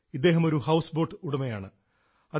ഇദ്ദേഹം ഒരു ഹൌസ്ബോട്ട് ഉടമയാണ്